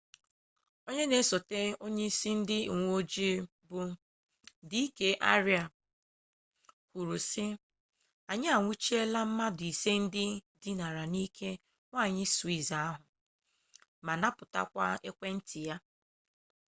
onye na-esote onye isi ndị uweojii bụ d k arya kwuru sị anyị anwụchiela mmadụ ise ndị dinara n'ike nwanyị swiss ahụ ma napụtakwa ekwentị na nkunụkwụ ya